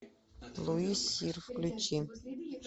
луи сир включи